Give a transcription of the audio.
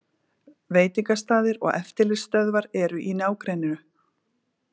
Veitingastaðir og eftirlitsstöðvar eru í nágrenninu